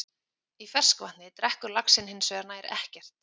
Í ferskvatni drekkur laxinn hins vegar nær ekkert.